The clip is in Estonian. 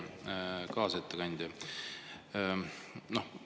Hea kaasettekandja!